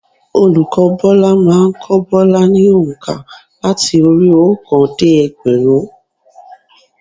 Olùkọ́ Bọ́lá má a n kó Bọ́lá ni ònkà láti orí i óòkan dé ẹgbẹ̀rún